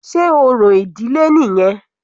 Sé orò ìdílé nìyẹn?